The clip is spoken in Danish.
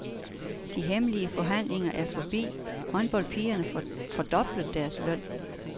De hemmelige forhandlinger er forbi, håndboldpigerne får fordoblet deres løn.